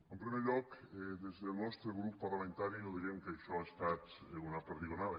en primer lloc des del nostre grup parlamentari no direm que això ha estat una perdigonada